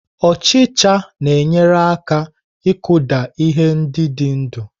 Ọchicha na-enyere aka ịkụda ihe ndị dị ndụ.